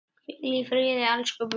Hvíl í friði elsku bróðir.